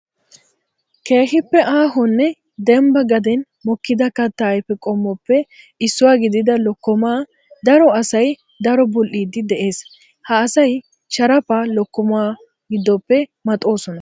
Keehippe aahonne dembba gaden mokkidda katta ayfe qommoppe issuwa gididda lokkomma daro asay daro buli'idde de'ees. Ha asay sharafaa lokkomma giddoppe maxxosonna.